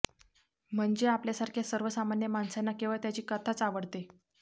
म्हणजे आपल्यासारख्या सर्वसामान्य माणसांना केवळ त्याची कथाच आवडते